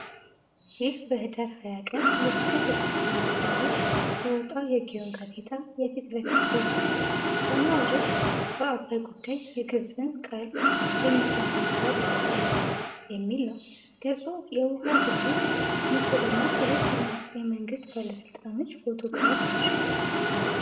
ይህ በኅዳር 20 ቀን 2016 ዓ.ም. የወጣው የግዮን ጋዜጣ የፊት ለፊት ገጽ ነው። ዋናው ርዕስ "በአባይ ጉዳይ የግብፅን ቃል የሚሰማ አካል የለም" የሚል ነው። ገጹ የውኃ ግድብ ምስልና ሁለት የመንግሥት ባለሥልጣናት ፎቶግራፎችን ይዟል።